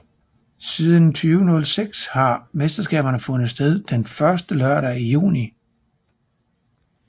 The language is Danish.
Siden 2006 har mesterskabet fundet sted den første lørdag i juni